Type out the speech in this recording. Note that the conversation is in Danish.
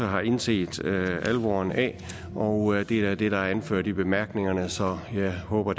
har indset alvoren af og det er det der er anført i bemærkningerne så jeg håber